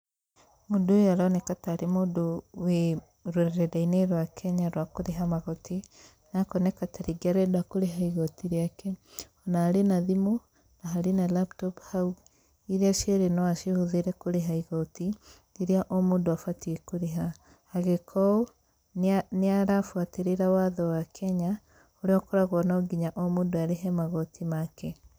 Mũndũ ũyũ aroneka tarĩ mũndũ wĩ rũrenda-inĩ rwa Kenya rwa kũrĩha magoti. Na akoneka tarĩngĩ arenda kũrĩha igoti rĩake, ona arĩ na thimũ na harĩ na laptop hau, irĩa cierĩ no acihũthĩre kũrĩha igoti rĩrĩa o mũndũ abatiĩ kũrĩha. Agĩka ũũ, nĩ nĩ arabuatĩrĩra watho wa kenya, ũrĩa ũkoragwo atĩ no nginya mũndũ arĩhe magoti make.